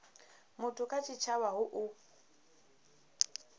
muthu kha tshitshavha hu u